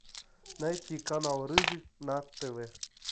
найти канал рыжий на тв